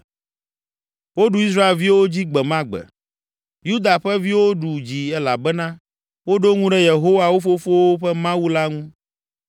Woɖu Israelviwo dzi gbe ma gbe. Yuda ƒe viwo ɖu dzi elabena woɖo ŋu ɖe Yehowa, wo fofowo ƒe Mawu la ŋu.